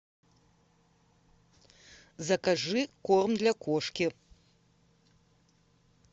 закажи корм для кошки